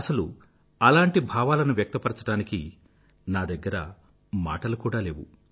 అసలలాంటి భావాలను వ్యక్తపరచడానికి నా దగ్గర మాటలు కూడా లేవు